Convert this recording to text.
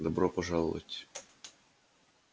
добро пожаловать